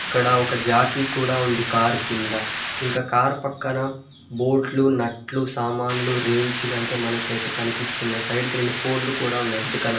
ఇక్కడ ఒక జాకీ కూడా ఉంది కార్ కింద ఇంకా కారు పక్కన బోట్లు నట్లు సామాన్లు రేంజ్ లో అయితే మనకైతే కనిపిస్తుంది సైడ్ కి రెండు పోల్ కూడా ఉన్నాయి రెడ్ కలర్ .